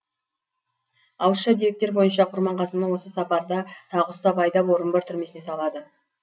ауызша деректер бойынша құрманғазыны осы сапарда тағы ұстап айдап орынбор түрмесіне салады